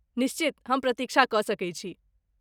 निश्चित, हम प्रतीक्षा कऽ सकैत छी।